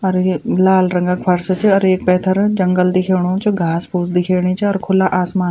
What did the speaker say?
अर ये लाल रंग क फर्स च अर येक पैथर जंगल दिखेणु च घास-फूस दिखेणी चा अर खुला आसमान।